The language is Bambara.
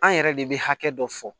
An yɛrɛ de bɛ hakɛ dɔ fɔ